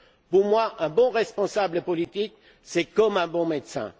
Pour moi, un bon responsable politique, c'est comme un bon médecin.